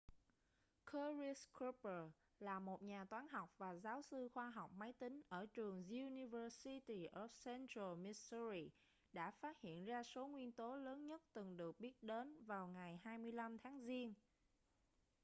curtis cooper là một nhà toán học và giáo sư khoa học máy tính ở trường university of central missouri đã phát hiện ra số nguyên tố lớn nhất từng được biết đến vào ngày 25 tháng giêng